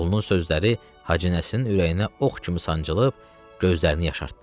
Oğlunun sözləri Hacı Nəsirin ürəyinə ox kimi sancılıb, gözlərini yaşartdı.